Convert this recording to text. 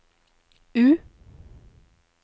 U